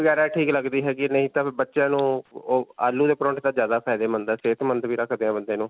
ਪੂਰੀ ਵਗੈਰਾ ਠੀਕ ਲਗਦੀ ਹੈਗੀ ਨਹੀਂ ਤਾਂ ਫਿਰ ਬੱਚਿਆਂ ਨੂੰ ਓਹ ਆਲੂ ਦੇ ਪਰੌਂਠੇ ਤਾਂ ਜਿਆਦਾ ਫ਼ਾਯਦੇਮੰਦ ਹੈ ਸੇਹਤਮੰਦ ਵੀ ਰਖਦੇ ਹੈ ਬੰਦੇ ਨੂੰ.